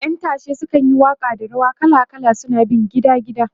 ƴan tashe sukan yi Waka da wasa kala kala suna bin gida gida